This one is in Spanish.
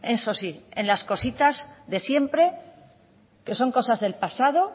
eso sí en las cositas de siempre que son cosas del pasado